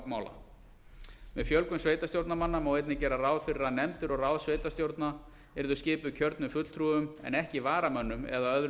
mála með fjölgun sveitarstjórnarmanna má einnig gera ráð fyrir að nefndir og ráð sveitarstjórna yrðu skipuð kjörnum fulltrúum en ekki varamönnum eða öðrum